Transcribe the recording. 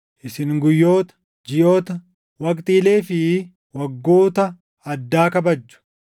Isin guyyoota, jiʼoota, waqtiilee fi waggoota addaa kabajju!